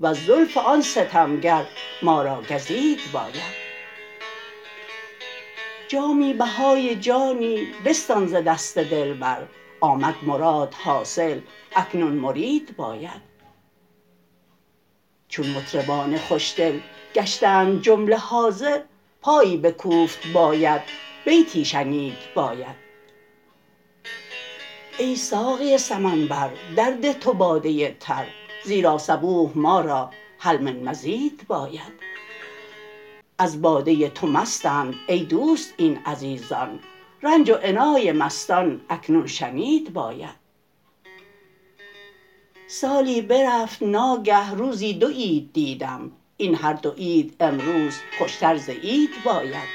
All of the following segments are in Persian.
وز زلف آن ستمگر ما را گزید باید جامی بهای جانی بستان ز دست دلبر آمد مراد حاصل اکنون مرید باید چون مطربان خوشدل گشتند جمله حاضر پایی بکوفت باید بیتی شنید باید ای ساقی سمنبر در ده تو باده تر زیرا صبوح ما را هل من مزید باید از باده تو مستند ای دوست این عزیزان رنج و عنای مستان اکنون کشید باید سالی برفت ناگه روزی دو عید دیدم این هر دو عید امروز خوشتر ز عید باید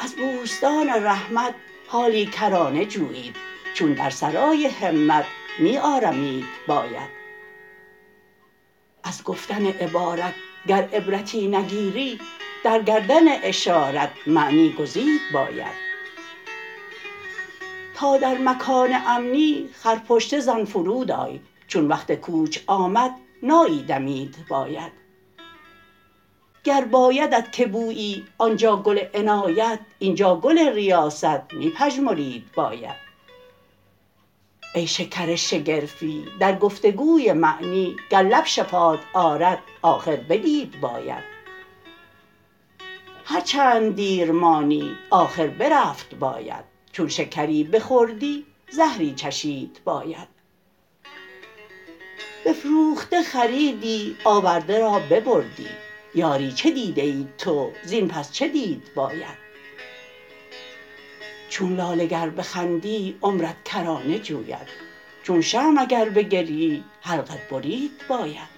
از بوستان رحمت حالی کرانه جویید چون در سرای همت می آرمید باید از گفتن عبارت گر عبرتی نگیری در گردن اشارت معنی گزید باید تا در مکان امنی خر پشته زن فرود آی چون وقت کوچ آمد نایی دمید باید گر بایدت که بویی آنجا گل عنایت اینجا گل ریاست می پژمرید باید ای شکر شگرفی در گفتگوی معنی گر لب شفات آرد آخر بدید باید هر چند دیر مانی آخر برفت باید چون شکری بخوردی زهری چشید باید بفروخته خریدی آورده را ببردی یاری چه دیده ای تو زین پس چه دید باید چون لاله گر بخندی عمرت کرانه جوید چون شمع اگر بگریی حلقت برید باید